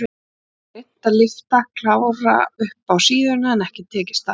Hann hafði reynt að lyfta Kára upp á síðuna en ekki tekist það.